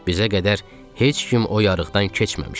Bizə qədər heç kim o yarıqdan keçməmişdi.